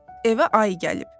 Evə ayı gəlib.